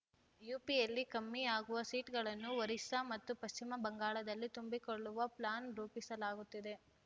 ಯುಪಿಯಲ್ಲಿ ಕಮ್ಮಿ ಆಗುವ ಸೀಟ್‌ಗಳನ್ನು ಒರಿಸ್ಸಾ ಮತ್ತು ಪಶ್ಚಿಮ ಬಂಗಾಳದಲ್ಲಿ ತುಂಬಿಕೊಳ್ಳುವ ಪ್ಲಾನ್‌ ರೂಪಿಸಲಾಗುತ್ತಿದೆ